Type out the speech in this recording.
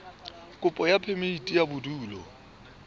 kopo ya phemiti ya bodulo